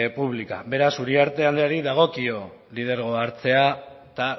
pública beraz uriarte andereari dagokio lidergoa hartzea eta